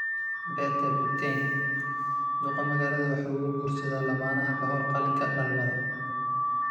Pete Buttigieg: Duqa magaalada waxa uu guursadaa lamaanaha ka hor qalliinka dhalmada